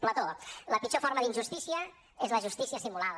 plató la pitjor forma d’injustícia és la justícia simulada